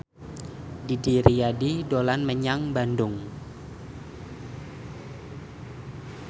Didi Riyadi dolan menyang Bandung